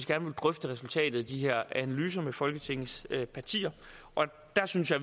gerne vil drøfte resultatet af de her analyser med folketingets partier og der synes jeg